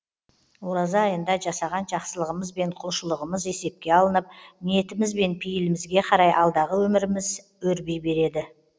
ораза айында жасаған жақсылығымыз бен құлшылығымыз есепке алынып ниетіміз бен пейілімізге қарай алдағы өміріміз өрби береді